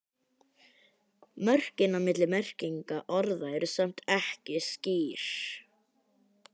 Mörkin á milli merkinga orðanna eru samt ekki skýr.